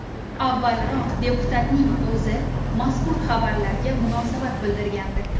Avvalroq deputatning o‘zi mazkur xabarlarga munosabat bildirgandi .